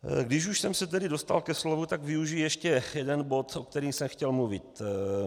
Když už jsem se tedy dostal ke slovu, tak využiji ještě jeden bod, o kterém jsem chtěl mluvit.